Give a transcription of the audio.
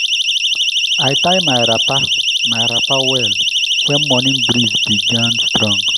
i tie my wrapper my wrapper well when morning breeze begin strong.